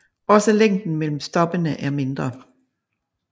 Også længden mellem stoppene er mindre